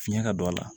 Fiɲɛ ka don a la